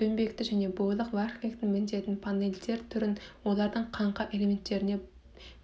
доңбекті және бойлық фахверктің міндетін панельдер түрін олардың қаңқа элементтеріне